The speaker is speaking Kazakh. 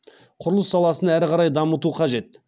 құрылыс саласын әрі қарай дамыту қажет